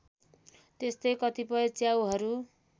त्यस्तै कतिपय च्याउहरू